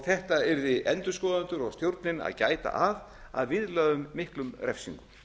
þetta yrðu endurskoðendur og stjórnin að gæta að að viðlögðum miklum refsingum